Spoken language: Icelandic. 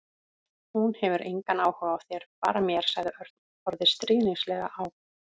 Hún hefur engan áhuga á þér, bara mér sagði Örn og horfði stríðnislega á